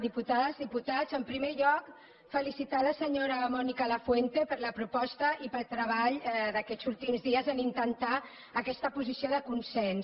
diputades diputats en primer lloc felicitar la senyora mònica lafuente per la proposta i pel treball d’aquests últims dies en intentar aquesta posició de consens